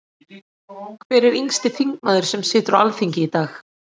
Hver er yngsti þingmaður sem situr á Alþingi í dag?